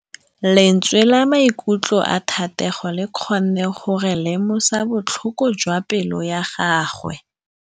Lentswe la maikutlo a Thategô le kgonne gore re lemosa botlhoko jwa pelô ya gagwe.